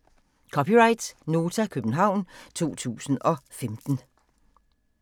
(c) Nota, København 2015